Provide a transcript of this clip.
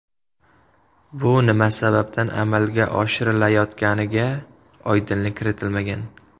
Bu nima sababdan amalga oshirilayotganiga oydinlik kiritilmagan.